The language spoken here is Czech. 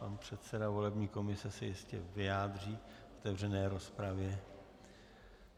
Pan předseda volební komise se jistě vyjádří v otevřené rozpravě.